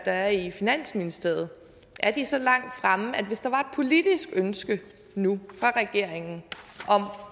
er i finansministeriet så langt fremme at hvis der var politisk ønske nu fra regeringen om